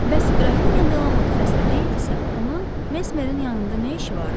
Bəs qrafinya Delamot xəstə deyildisə, onun Mesmerin yanında nə işi vardı?